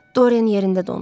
Dorian yerində dondu.